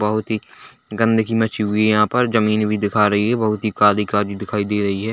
बहुत ही गन्दगी मची हुई है यहाँ पर जमीन भी दिखा रही है बहुत ही काली-काली दिखाई दे रही है।